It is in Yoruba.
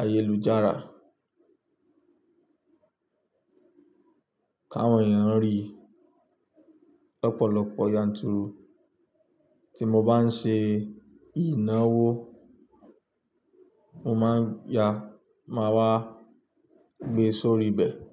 ayélujára, káwọn èèyàn rí lọ́pọ̀lọpọ̀ yanturu. Tí mo bá ń ṣe ìnáwó, mo má ń ya, màá wá gbe sórí ibẹ̀